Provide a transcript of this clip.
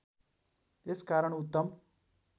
यस कारण उत्तम